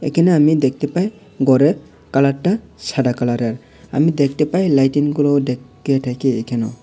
একানে আমি দেখতে পাই গরের কালারটা সাদা কালারের আমি দেখতে পাই লাইটিংগুলো ঢেকে ঢেকে এখানে।